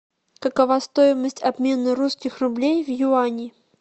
какова стоимость обмена русских рублей в юани